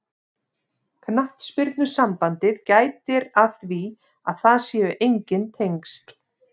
Knattspyrnusambandið gætir að því að það séu enginn tengsl.